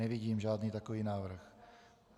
Nevidím žádný takový návrh.